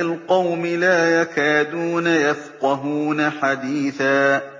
الْقَوْمِ لَا يَكَادُونَ يَفْقَهُونَ حَدِيثًا